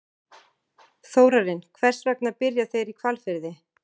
Þórarinn, hvers vegna byrja þeir í Hvalfirði?